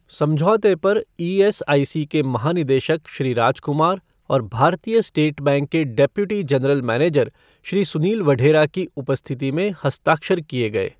समझौते पर ईएसआईसी के महानिदेशक श्री राजकुमार और भारतीय स्टेट बैंके के deputy general manager Shri Sunil Vadhera की उपस्थिति में हस्ताक्षर किए गए।